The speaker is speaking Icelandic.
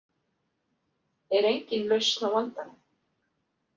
Er engin lausn á vandanum?